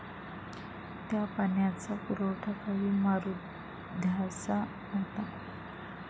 त्या पाण्याचा पुरवठा काही मारुद्यांसा होतो.